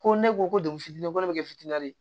Ko ne ko ko degun fitinin ko ne bɛ kɛ fitinin ye